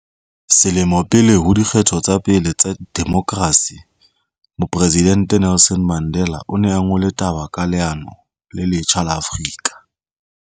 Selemo pele ho di kgetho tsa pele tsa demokrasi, Mopre sidente Nelson Mandela o ne a ngole taba ka leano le letjha la Afrika